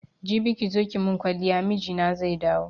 Jibi kizo ki mun kwaliya mijina zai dawo